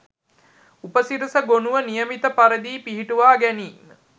උපසිරැසි ගොණුව නියමිත පරිදි පිහිටුවා ගැනීම